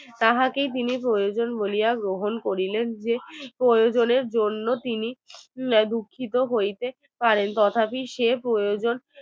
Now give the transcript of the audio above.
তাহাকেই তিনি প্রয়োজন বলিয়া গ্রহণ করিলেন যে প্রয়োজনের জন্য তিনি দুঃখিত হইতে পারেন এই কথাটি সে প্রয়োজন